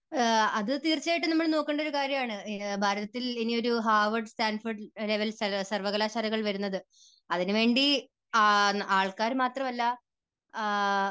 അത് തീർച്ചയായിട്ടും നമ്മൾ നോക്കേണ്ട ഒരു കാര്യമാണ്. ഭാരതത്തിൽ ഇനിയൊരു ഹാർവാർഡ് സ്റ്റാൻഫോർഡ് ലെവൽ സർവകലാശാലകൾ വരുന്നത് അതിനുവേണ്ടി ആൾക്കാർ മാത്രമല്ല